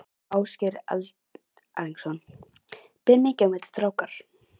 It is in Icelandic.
Ásgeir Erlendsson: Ber mikið í milli strákar?